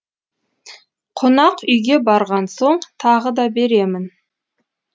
қонақүйге барған соң тағы да беремін